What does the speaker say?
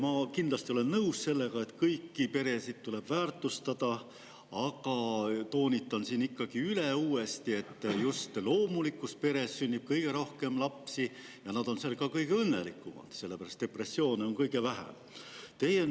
Ma olen kindlasti nõus sellega, et kõiki peresid tuleb väärtustada, aga toonitan siin ikkagi uuesti, et just loomulikus peres sünnib kõige rohkem lapsi ja seal on nad ka kõige õnnelikumad, sellepärast et depressiooni esineb sellistes peredes kõige vähem.